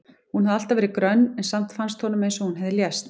Hún hafði alltaf verið grönn en samt fannst honum eins og hún hefði lést.